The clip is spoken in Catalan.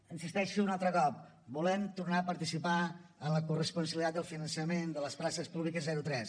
hi insisteixo un altre cop volem tornar a participar en la corresponsabilitat del finançament de les places públiques zero tres